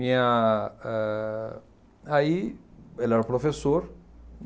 Aí ele era professor.